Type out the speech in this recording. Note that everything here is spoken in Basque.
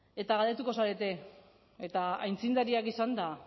eta galdetuko zarete eta aitzindariak izanda